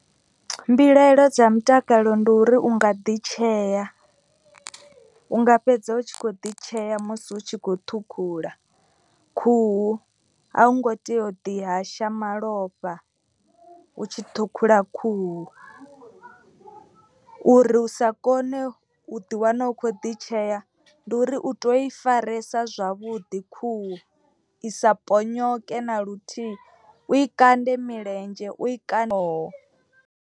Mbilaelo dza mutakalo ndi uri u nga ḓi tshea unga fhedza u tshi kho ḓi tshea. Musi hu tshi khou ṱhukhula khuhu a u ngo tea u ḓi hasha malofha. U tshi ṱhukhula khuhu uri u sa kone u ḓiwana u kho ḓi tshea. Ndi uri u to i faresa zwavhuḓi khuhu i sa ponyoke na luthihi u i kande milenzhe u i kande ṱhoho.